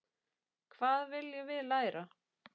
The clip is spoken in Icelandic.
Hvað viljum við læra?